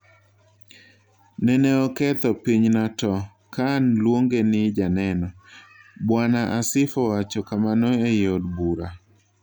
"Neneoketho pinyna to (Khan) luonge ni janeno,"Bwana Asif owacho kamano ei od bura